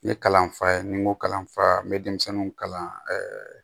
N ye kalanfa ye ni n ko kalanfara n bɛ denmisɛnninw kalan